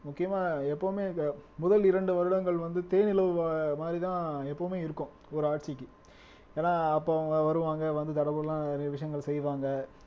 முக்கியமா எப்பவுமே இந்த முதல் இரண்டு வருடங்கள் வந்து தேனிலவு மாதிரிதான் எப்பவுமே இருக்கும் ஒரு ஆட்சிக்கு ஏன்னா அப்ப அவங்க வருவாங்க வந்து தடபுடலாம் நிறைய விஷயங்கள் செய்வாங்க